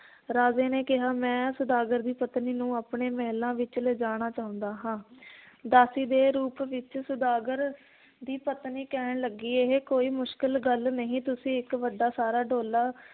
ਰਾਜੇ ਨੇ ਕਿਹਾ ਮੈ ਸੌਦਾਗਰ ਦੀ ਪਤਨੀ ਨੂੰ ਆਪਣੇ ਮਹਿਲਾਂ ਵਿਚ ਲਿਜਾਣਾ ਚਾਹੁੰਦਾ ਹਾਂ ਦਾਸੀ ਦੇ ਰੂਪ ਵਿਚ ਸੌਦਾਗਰ ਦੀ ਪਤਨੀ ਕਹਿਣ ਲੱਗੀ, ਇਹ ਕੋਈ ਮੁਸ਼ਕਲ ਗੱਲ ਨਹੀਂ, ਤੁਸੀਂ ਇੱਕ ਵੱਡਾ ਸਾਰਾ ਡੋਲਾ